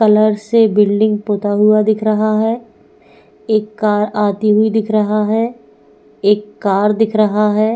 Colour से building होता हुआ दिख रहा है एक कार आती हुई दिख रहा है एक कार दिख रहा है।